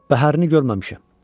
Bəhərini görməmişəm.